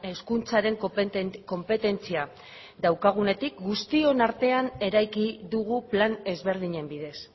hezkuntzaren konpetentzia daukagunetik guztion artean eraiki dugu plan ezberdinen bidez